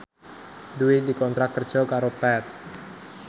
Dwi dikontrak kerja karo Path